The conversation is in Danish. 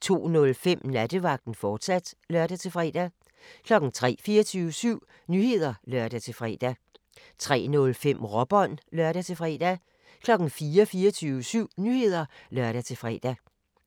02:05: Nattevagten, fortsat (lør-fre) 03:00: 24syv Nyheder (lør-fre) 03:05: Råbånd (lør-fre) 04:00: 24syv Nyheder (lør-fre)